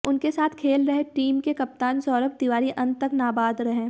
उनके साथ खेल रहे टीम के कप्तान सौरभ तिवारी अंत तक नाबाद रहे